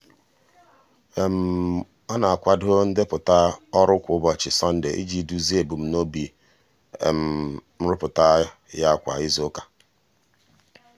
ọ na-akwado ndepụta ọrụ kwa ụbọchị sọnde iji duzie ebumnobi um nrụpụta ya kwa izuụka.